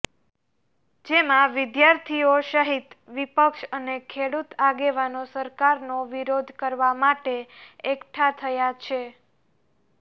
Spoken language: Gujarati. જેમાં વિદ્યાર્થીઓ સહિત વિપક્ષ અને ખેડૂત આગેવાનો સરકારનો વિરોધ કરવા માટે એકઠા થયા છે